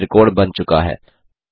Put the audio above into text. यहाँ त्रिकोण बन चुका है